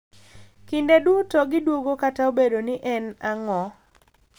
Kinde duto gidwogo kata obedo ni en ang’o.